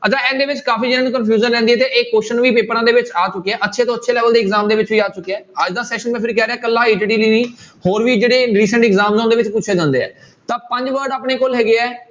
ਅੱਛਾ ਇਹਨਾਂ ਦੇ ਵਿੱਚ ਕਾਫ਼ੀ ਜਾਣਿਆਂ ਨੂੰ confusion ਰਹਿੰਦੀ ਹੈ ਤੇ ਇਹ question ਵੀ ਪੇਪਰਾਂ ਦੇ ਵਿੱਚ ਆ ਚੁੱਕਿਆ ਹੈ ਅੱਛੇ ਤੋਂ ਅੱਛੇ level ਦੇ exam ਦੇ ਵਿਚ ਵੀ ਆ ਚੁੱਕਿਆ, ਅੱਜ ਦਾ session ਮੈਂ ਫਿਰ ਕਹਿ ਰਿਹਾਂ ਇਕੱਲਾ ETT ਲਈ ਨਹੀਂ ਹੋਰ ਵੀ ਜਿਹੜੇ exam ਨੇ ਉਹਦੇ ਵਿੱਚ ਪੁੱਛੇ ਜਾਂਦੇ ਆ, ਤਾਂ ਪੰਜ word ਆਪਣੇ ਕੋਲ ਹੈਗੇ ਹੈ।